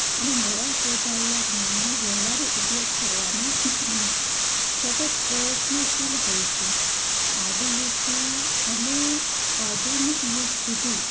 અને નવા શોધાયેલા જ્ઞાનનો વ્યવહારૂ ઉપયોગ કરવામાં સતત પ્રયત્નશીલ હોય છે આદિયુગ થી આનું આધુનિક યુગ સુધી